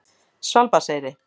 Svalbarðseyri